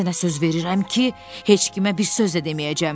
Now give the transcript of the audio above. Sənə söz verirəm ki, heç kimə bir söz də deməyəcəm.